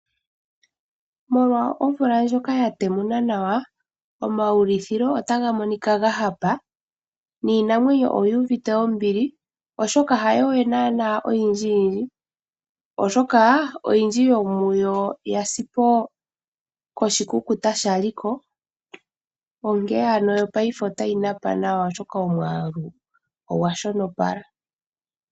Molwa omvula ndjoka ya temuna nawa omaulithilo otaga monika ga hapa niinamwenyo oyu uvite ombili oshoka hayo we nana oyindjiyindji oshoka oyindji yomuyo yasi po koshikukuta shali ko onkene ano paife otayi napa nawa oshoka omwaalu ogwa shonopala.